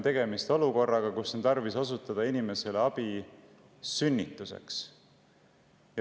Tegemist on olukorraga, kus on tarvis osutada inimesele abi sünnitusel.